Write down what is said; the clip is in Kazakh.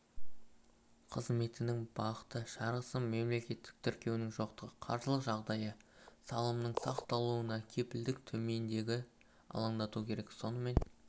қызметінің бағыты жарғысының мемлекеттік тіркеуінің жоқтығы қаржылық жағдайы салымның сақталуына кепілдіктің төмендігі алаңдату керек сонымен